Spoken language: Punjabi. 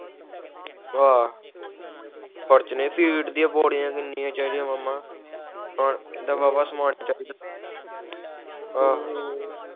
ਆਹ ਖਰਚਣੇ ਏ ਫ਼ੀਡੜੇਆ ਬੋਰੀਆਂ ਕੀਨੀਆ ਚਾਹੀਦਾ ਮਾਮਾ ਕਾਹਨ ਪੂਈਂ ਦਾ ਵਾਵਾ ਸਮਾਂ ਚਾਹੀਦਾ ਆ